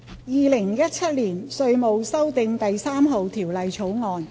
《2017年稅務條例草案》。